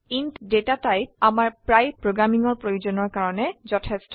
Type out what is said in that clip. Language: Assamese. ইণ্ট ডেটা টাইপ আমাৰ প্ৰায় প্ৰোগ্ৰামিংৰ প্ৰয়োজনৰ কাৰনে যথেষ্ট